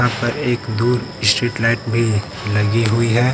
पर एक दूर स्ट्रीट लाइट भी लगी हुई है।